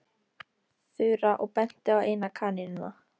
Þura og benti á eina kanínuna.